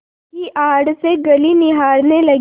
की आड़ से गली निहारने लगी